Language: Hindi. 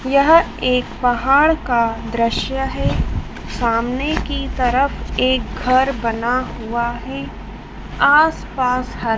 यह एक पहाड़ का दृश्य है। सामने की तरफ एक घर बना हुआ है। आस पास ह--